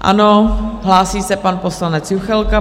Ano, hlásí se pan poslanec Juchelka.